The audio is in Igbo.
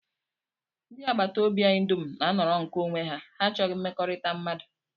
Ndị agbataobi anyị dum na-anọrọ nke onwe ha, ha achọghị mmekọrịta mmadụ